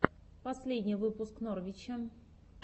последний выпуск новрича